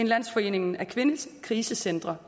landsforeningen af kvindekrisecentre